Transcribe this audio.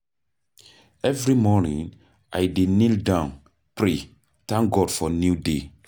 Every morning, I dey kneel down pray, thank God for new day.